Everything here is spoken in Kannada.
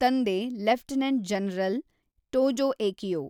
ತಂದೆ ಲೆಫ್ಟನೆಂಟ್ ಜನರಲ್ ಟೋಜೋಏಕಿಯೋ.